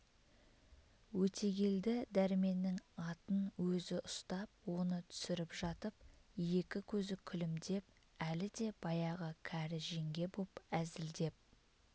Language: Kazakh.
өтегелді дәрменнің атын өзі ұстап оны түсіріп жатып екі көзі күлімдеп әлі де баяғы кәрі жеңге боп әзілдеп